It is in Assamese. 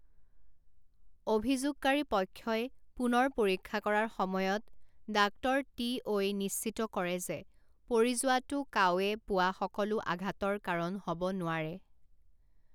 অভিযোগকাৰী পক্ষই পুনৰ পৰীক্ষা কৰাৰ সময়ত ডাঃ টিঅ'ই নিশ্চিত কৰে যে পৰি যোৱাটো কাওৱে পোৱা সকলো আঘাতৰ কাৰণ হ'ব নোৱাৰে।